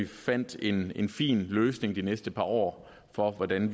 fandt en fin løsning for de næste par år for hvordan